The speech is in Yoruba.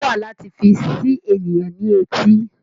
Òwe wà láti fi ṣi ènìyàn ní etí